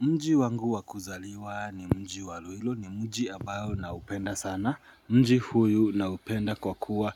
Mji wangu wakuzaliwa ni mji waluilo ni mji abayo na upenda sana. Mji huyu naupenda kwa kuwa